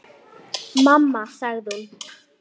Mamma sagði hún.